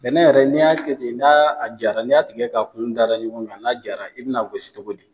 Bɛnɛn yɛrɛ ni y'a kɛ ten n'a jara ni y'a tigɛ ka kunw da da ɲɔgɔn kan, n'a jara i be na gosi cogo di?